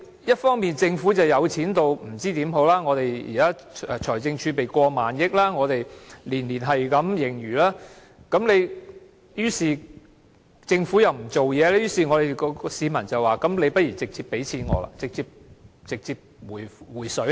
一方面政府富裕到不知應該怎樣做，現時的財政儲備有過萬億元，每年也有盈餘，但政府又不做事，於是市民說不如直接把錢給我好了，直接"回水"好了。